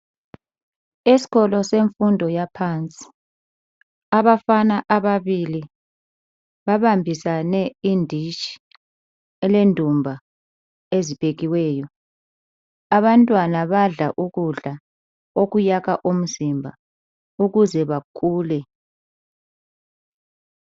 Esikolo semfundo yaphansi abafana ababili babambisane inditshi elendumba eziphekiweyo. Abantwana badla ukudla okuyakha umzimba ukuze bakhule.